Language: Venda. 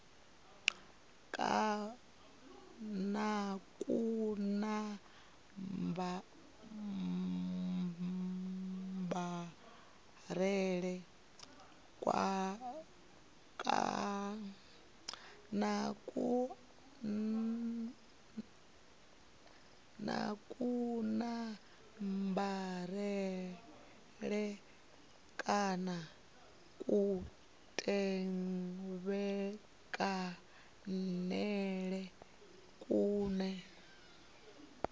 na kunambarele kana kutevhekanele kune